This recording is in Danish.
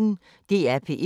DR P1